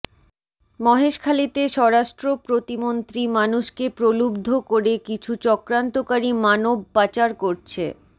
মহেশখালীতে স্বরাষ্ট্র প্রতিমন্ত্রী মানুষকে প্রলুব্ধ করে কিছু চক্রান্তকারী মানব পাচার করছে